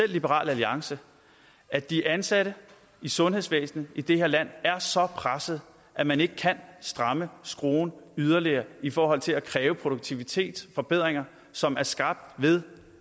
liberal alliance at de ansatte i sundhedsvæsenet i det her land er så presset at man ikke kan stramme skruen yderligere i forhold til at kræve produktivitet forbedringer som er skabt ved